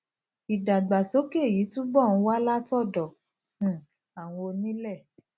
ìdàgbàsókè yìí túbò ń wá látòdò um àwọn onílé